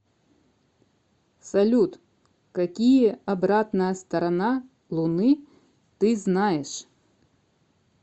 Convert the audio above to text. салют какие обратная сторона луны ты знаешь